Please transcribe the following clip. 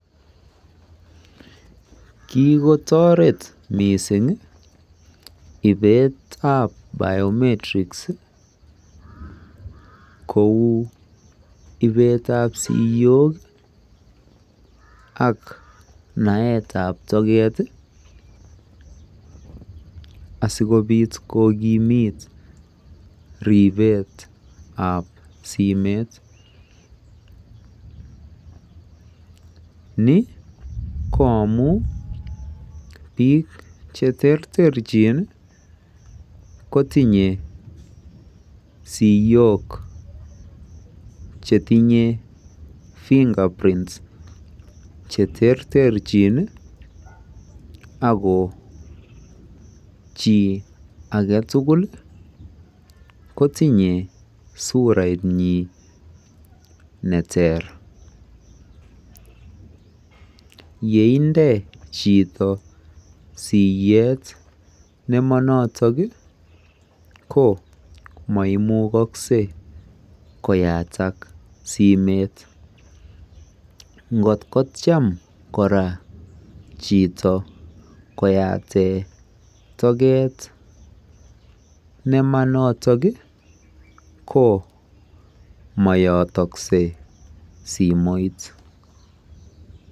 Kikotoret mising ibetab Biometrics kou ibetab siyok ak naetab toket asikobiit kokimit ribetab simet. Ni ko amu biik cheterterchin kotinye siyok chetinye Fingerprints cheterterchin ako chi ake tugul kotinye suraitnyi neter. Yeinde chito siyet nemanoto ko mayataksei simet. Ngot kotiam kora koyate toket nemanoto ko mayataksei simoit.